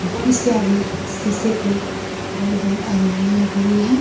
इसके आगे सीसे के बहोत बड़ी अलमारियां लगी हुई है।